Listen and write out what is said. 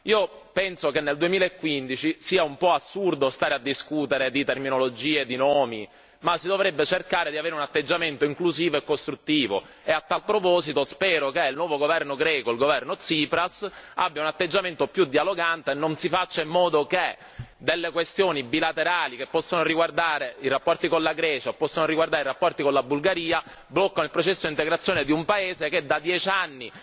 Io penso che nel 2015 sia un po' assurdo discutere di terminologia e di nomi si dovrebbe invece cercare di avere un atteggiamento inclusivo e costruttivo e, a tal proposito, spero che il nuovo governo greco, il governo Tsipras, abbia un atteggiamento più dialogante e si faccia in modo che delle questioni bilaterali che possono riguardare i rapporti con la Grecia o i rapporti con la Bulgaria non blocchino il processo di integrazione di un paese che da aspetta dieci anni